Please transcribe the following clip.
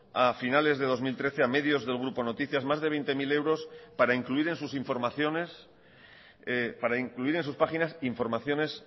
a finales de dos mil trece a medios del grupo noticias más de veinte mil euros para incluir en sus páginas informaciones